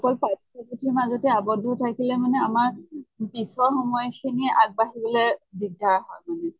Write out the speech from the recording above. অকল পাঠ্য় পুথিৰ মাজতে আৱদ্ধ থাকিলে আমাৰ পিছৰ সময় খিনি আগ বাঢ়িবলৈ দিগ্দাৰ হয় মানে।